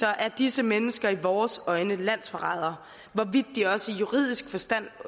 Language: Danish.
er disse mennesker i vores øjne landsforrædere hvorvidt de også i juridisk forstand